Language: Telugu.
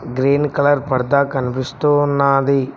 గ్రీన్ కలర్ పరద కనిపిస్తూ ఉన్నది.